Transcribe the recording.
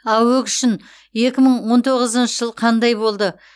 аөк үшін екі мың он тоғызыншы жыл қандай болды